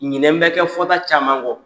Ɲinɛ bɛ kɛ fɔta caman gɔ.